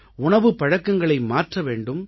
உணவுப் பழக்கங்களை மாற்ற வேண்டும்